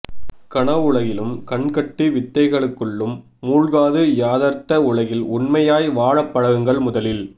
கனவுலகிலும் கண்கட்டி வித்தைக்களுள்ளும் மூழ்காது யதார்த்த உலகில் உண்மையாய் வாழப் பழகுங்கள் முதலில்